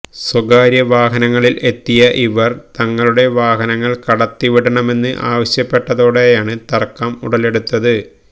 സ്വകാര്യ വാഹനങ്ങളിൽ എത്തിയ ഇവർ തങ്ങളുടെ വാഹനങ്ങൾ കടത്തിവിടണമെന്ന് ആവശ്യപ്പെട്ടതോടെയാണ് തർക്കം ഉടലെടുത്തത്